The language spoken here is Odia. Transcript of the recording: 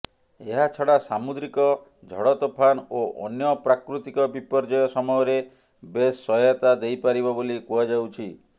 ଏହାଛଡ଼ା ସାମୁଦ୍ରିକ ଝଡ଼ତୋଫାନ ଓ ଅନ୍ୟ ପ୍ରାକୃତିକ ବିପର୍ଯ୍ୟୟ ସମୟରେ ବେଶ୍ ସହାୟତା ଦେଇପାରିବ ବୋଲି କୁହାଯାଉଛି